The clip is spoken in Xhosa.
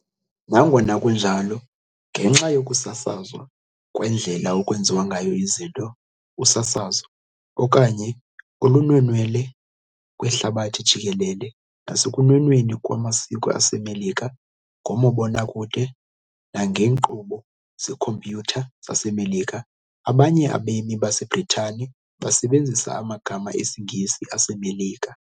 Nangona kunjalo, ngenxa yokusasazwa kwendlela ekwenziwa ngayo izinto, usasazo, okanye olunwenwela kwihlabathi jikelele, nasekunwenweni kwamasiko aseMelika ngomabonakude nangeenkqubo zeekhompyutha zaseMelika, abanye abemi baseBritane basebenzisa amagama esiNgesi aseMelika.